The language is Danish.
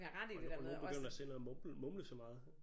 Og nogle og nogle begynder selv at mumle mumle så meget